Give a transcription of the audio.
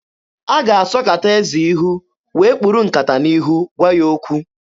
A ga-asọkata eze ihu wee kpuru nkata n'ihu gwa ya okwu.